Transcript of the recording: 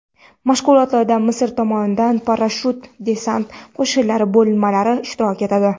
Mashg‘ulotlarda Misr tomonidan parashyut-desant qo‘shinlari bo‘linmalari ishtirok etadi.